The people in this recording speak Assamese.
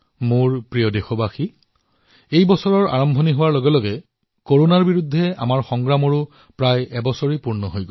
মোৰ মৰমৰ দেশবাসীসকল এই বছৰৰ আৰম্ভণিতেই কৰোনাৰ বিৰুদ্ধে আমাৰ যুদ্ধখনেও প্ৰায় এবছৰ অতিক্ৰম কৰিলে